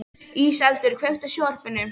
Íseldur, kveiktu á sjónvarpinu.